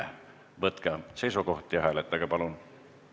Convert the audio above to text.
Palun võtke seisukoht ja hääletage!